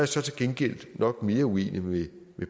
så til gengæld nok mere uenig med